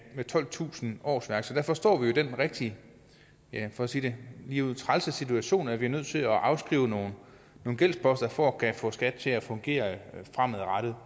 tolvtusind årsværk så derfor står vi jo i den rigtig for at sige det ligeud trælse situation at vi er nødt til at afskrive nogle gældsposter for at kunne få skat til at fungere fremadrettet